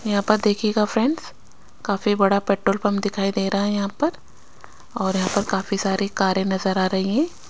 यहाँ पर देखिएगा फ्रेंड्स काफी बड़ा पेट्रोल पंप दिखाई दे रहा है यहाँ पर और यहाँ पर काफी सारी कारे नज़र आ रही हैं।